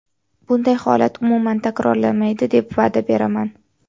Bunday holat umuman takrorlanmaydi deb va’da beraman.